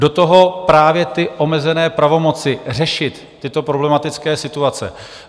Do toho právě ty omezené pravomoci řešit tyto problematické situace.